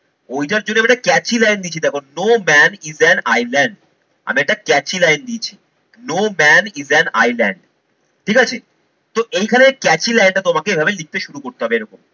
ওইটার জন্য আমি একটা catchy line লিখেছি দেখো no man is an island আমি একটা catchy line দিয়েছি। no man is an island ঠিক আছে? তো এইখানে catchy line টা তোমাকে এভাবে লিখতে শুরু করতে হবে এরকম।